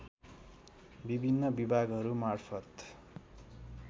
विभिन्न विभागहरू मार्फत